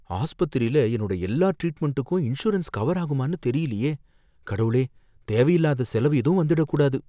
ஆஸ்பத்திரில என்னோட எல்லா ட்ரீட்மெண்டுக்கும் இன்சூரன்ஸ் கவர் ஆகுமானு தெரியலயே, கடவுளே! தேவையில்லாத செலவு ஏதும் வந்திடக் கூடாது